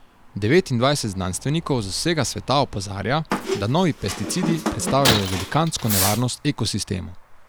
Devetindvajset znanstvenikov z vsega sveta opozarja, da novi pesticidi predstavljajo velikansko nevarnost ekosistemu.